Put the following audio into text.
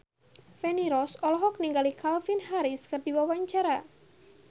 Feni Rose olohok ningali Calvin Harris keur diwawancara